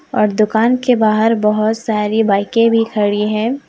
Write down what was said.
और दुकान के बाहर बहोत सारी बाईके भी खड़ी है।